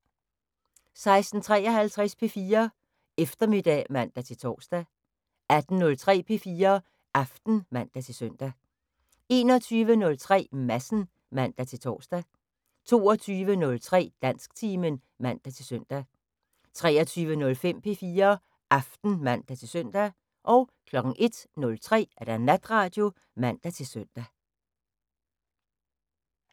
16:53: P4 Eftermiddag (man-tor) 18:03: P4 Aften (man-søn) 21:03: Madsen (man-tor) 22:03: Dansktimen (man-søn) 23:05: P4 Aften (man-søn) 01:03: Natradio (man-søn)